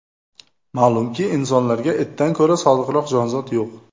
Ma’lumki, insonlarga itdan ko‘ra sodiqroq jonzot yo‘q.